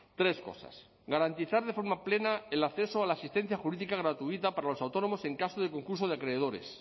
tres cosas garantizar de forma plena el acceso a la asistencia jurídica gratuita para los autónomos en caso de concurso de acreedores